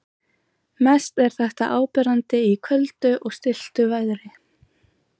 Mest er þetta áberandi í köldu og stilltu veðri.